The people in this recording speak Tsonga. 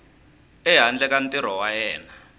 ehandle ka ntirho wa yena